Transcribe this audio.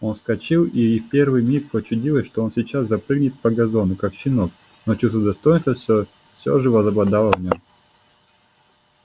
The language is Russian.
он вскочил и ей в первый миг почудилось что он сейчас запрыгнет по газону как щенок но чувство достоинства всё всё же возобладало в нём